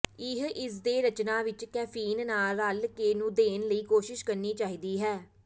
ਇਹ ਇਸ ਦੇ ਰਚਨਾ ਵਿੱਚ ਕੈਫੀਨ ਨਾਲ ਰਲਕੇ ਨੂੰ ਦੇਣ ਲਈ ਕੋਸ਼ਿਸ਼ ਕਰਨੀ ਚਾਹੀਦੀ ਹੈ